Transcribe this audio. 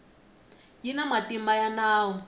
yi na matimba ya nawu